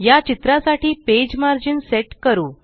या चित्रासाठी page margin set करू